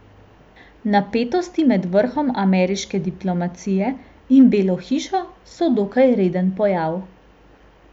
Napetosti med vrhom ameriške diplomacije in Belo hišo so dokaj reden pojav.